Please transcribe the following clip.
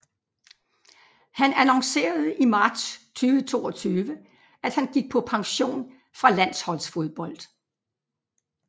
Han annoncerede i marts 2022 at han gik på pension fra landsholdsfodbold